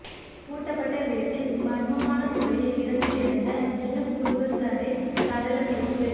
பூட்டப்பட்ட வீட்டில் மர்மமான முறையில் இறந்து கிடந்த இளம் குடும்பஸ்தரின் சடலம் மீட்பு